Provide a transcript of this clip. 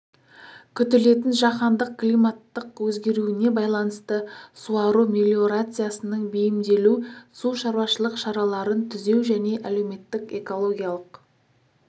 күтілетін жаһандық климаттық өзгеруіне байланысты суару мелиорациясының бейімделу су шаруашылық шараларын түзеу және әлеуметтік экологиялық